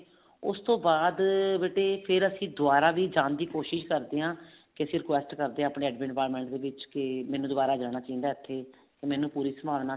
ਉਸਤੋਂ ਬਾਅਦ ਬੇਟੇ ਫ਼ੇਰ ਅਸੀਂ ਦੁਬਾਰਾ ਵੀ ਜਾਣ ਦੀ ਕੋਸ਼ਿਸ ਕਰਦੇ ਹਾਂ ਕੇ ਅਸੀਂ request ਕਰਦੇ ਹਾਂ ਆਪਣੇ admin department ਵਿੱਚ ਕੇ ਮੈਨੂੰ ਦੁਬਾਰਾ ਜਾਣਾ ਚਾਹੀਦਾ ਇੱਥੇ ਮੈਨੂੰ ਪੂਰੀ ਸੰਭਾਵਨਾ